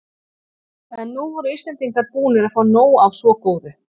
En nú voru Íslendingar búnir að fá nóg af svo góðu.